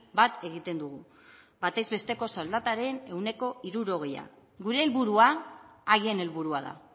bat egiten dugu batez besteko soldataren ehuneko hirurogeia gure helburua haien helburua da